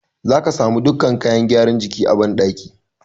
Za ka samu dukkan kayan gyara jiki a banɗaki.